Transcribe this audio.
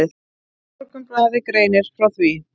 Morgunblaðið greinir frá.